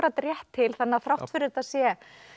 rétt til þrátt fyrir að þetta sé